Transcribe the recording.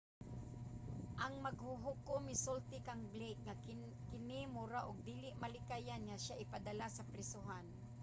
ang maghuhukom misulti kang blake nga kini mura og dili malikayan nga siya ipadala sa prisohan